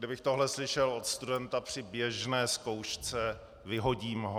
Kdybych tohle slyšel od studenta při běžné zkoušce, vyhodím ho.